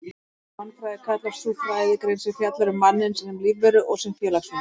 Mannfræði kallast sú fræðigrein sem fjallar um manninn sem lífveru og sem félagsveru.